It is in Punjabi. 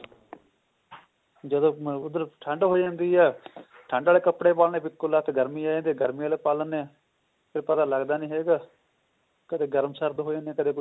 ਜਦੋਂ ਮੈਂ ਓਧਰ ਠੰਡ ਹੋ ਜਾਂਦੀ ਹੈ ਠੰਡ ਆਲੇ ਕੱਪੜੇ ਪਾਉਂਦੇ ਹਾਂ ਫਿਰ ਇੱਕੋ ਲੱਖਤ ਗਰਮੀ ਆ ਜਾਂਦੀ ਹੈ ਗਰਮੀ ਆਲੇ ਪਾ ਲਿੰਦੇ ਹਾਂ ਤੇ ਪਤਾ ਲੱਗਦਾ ਨਹੀਂ ਹੈਗਾ ਕਦੇ ਗਰਮ ਸਰਦ ਹੋ ਜਾਂਦੇ ਨੇ ਕਦੇ ਕੁੱਛ ਹੋਰ